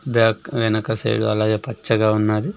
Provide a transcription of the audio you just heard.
Back వెనక side అలాగే పచ్చగా ఉన్నది.